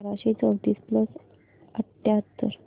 बाराशे चौतीस प्लस अठ्याहत्तर